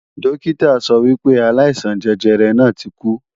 Dókítà sọ wípé aláìsàn jẹjẹrẹ náà ti kú